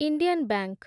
Indian bank